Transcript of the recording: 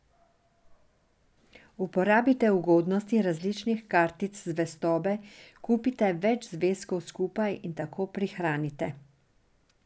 Uporabite ugodnosti različnih kartic zvestobe, kupite več zvezkov skupaj in tako prihranite.